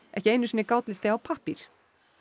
ekki einu sinni gátlisti á pappír